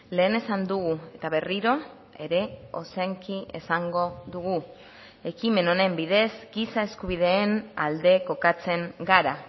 lehen esan dugu eta berriro ere ozenki esango dugu ekimen honen bidez giza eskubideen alde kokatzen gara